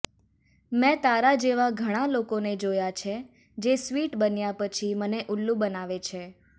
મે તારા જેવા ઘણા લોકોને જોયા છે જે સ્વીટ બન્યા પછી મને ઉલ્લુ બનાવે છે